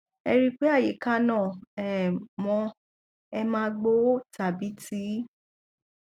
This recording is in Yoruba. ẹ rí i pé àyíká náà um mọ ẹ má gbo ó tàbí ti í